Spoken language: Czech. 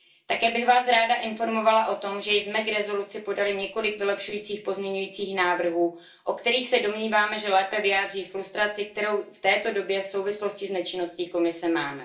Také bych vás ráda informovala o tom, že jsme k rezoluci podali několik vylepšujících pozměňovacích návrhů, o kterých se domníváme, že lépe vyjádří frustraci, kterou v této době v souvislosti s nečinností Komise máme.